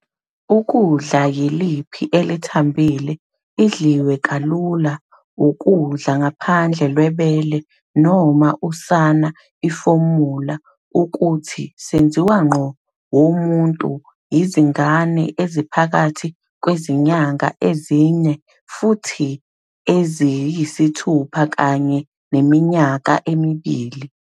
ukudla yiliphi elithambile, idliwe kalula ukudla ngaphandle lwebele noma usana ifomula ukuthi senziwa ngqo womuntu izingane eziphakathi kwezinyanga ezine futhi eziyisithupha kanye neminyaka emibili.